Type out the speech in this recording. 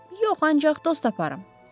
Yox, ancaq dost taparam.